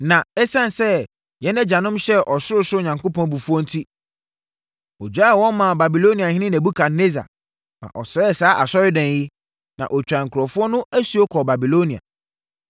Na ɛsiane sɛ yɛn agyanom hyɛɛ ɔsorosoro Onyankopɔn abufuo enti, ɔgyaee wɔn maa Babiloniahene Nebukadnessar, ma ɔsɛee saa asɔredan yi, na ɔtwaa nkurɔfoɔ no asuo kɔɔ Babilonia.